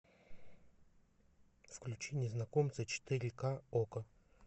включи незнакомца четыре ка окко